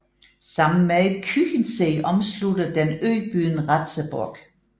Sammen med Küchensee omslutter den øbyen Ratzeburg